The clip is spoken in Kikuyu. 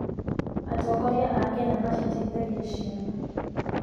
Atongoria a Kenya maciteithagia ciana.